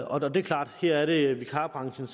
og det er klart at her er det vikarbranchen